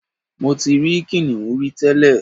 Mo ti ri kìnìún rí tẹ́lẹ̀